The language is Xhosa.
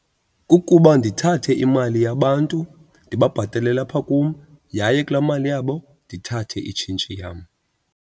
Kukuba ndithathe imali yabantu ndibabhatalele apha kum yaye kulaa mali yabo ndithathe itshintshi yam.